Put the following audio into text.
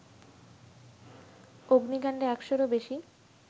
অগ্নিকাণ্ডে একশোরও বেশি